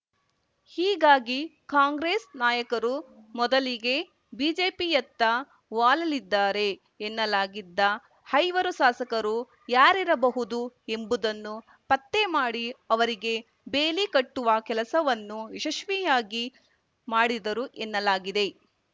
ಹೀಗಾಗಿ ಕಾಂಗ್ರೆಸ್‌ ನಾಯಕರು ಮೊದಲಿಗೆ ಬಿಜೆಪಿಯತ್ತ ವಾಲಲಿದ್ದಾರೆ ಎನ್ನಲಾಗಿದ್ದ ಐವರು ಶಾಸಕರು ಯಾರಿರಬಹುದು ಎಂಬುದನ್ನು ಪತ್ತೆ ಮಾಡಿ ಅವರಿಗೆ ಬೇಲಿ ಕಟ್ಟುವ ಕೆಲಸವನ್ನು ಯಶಸ್ವಿಯಾಗಿ ಮಾಡಿದರು ಎನ್ನಲಾಗಿದೆ